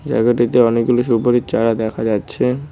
জায়গাটিতে অনেকগুলি সুপারির চারা দেখা যাচ্ছে।